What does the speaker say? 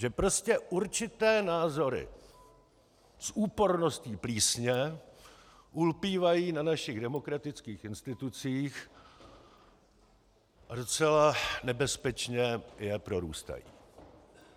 Že prostě určité názory s úporností plísně ulpívají na našich demokratických institucích a docela nebezpečně je prorůstají.